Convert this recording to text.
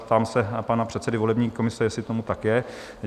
Ptám se pana předsedy volební komise, jestli tomu tak je?